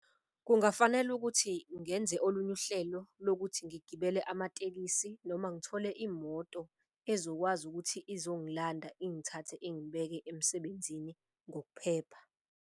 Kungafanele ukuthi ngenze olunye uhlelo lokuthi ngigibele amatekisi noma ngithole imoto ezokwazi ukuthi izongilanda ingithathe ingibeke emsebenzini ngokuphepha.